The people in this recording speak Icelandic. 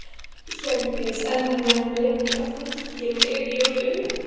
Hjördís: En þetta mun liggja á fólki yfir jólin?